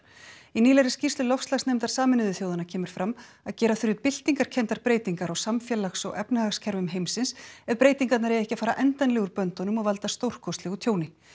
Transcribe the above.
í nýlegri skýrslu loftslagsnefndar Sameinuðu þjóðanna kemur fram að gera þurfi byltingarkenndar breytingar á samfélags og efnahagskerfum heimsins ef breytingarnar eiga ekki að fara endanlega úr böndunum og valda stórkostlegu tjóni